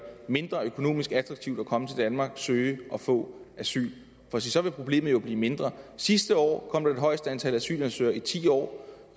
mindre økonomisk attraktivt at komme til danmark søge og få asyl for så vil problemet jo blive mindre sidste år kom der det højeste antal asylansøgere i ti år